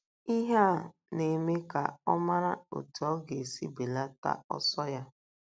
Ihe a na - eme ka ọ mara otú ọ ga - esi belata ọsọ ya.